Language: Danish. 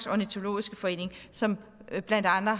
ornitologisk forening som blandt andre